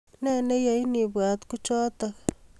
Ne neyain ibwat kuchotok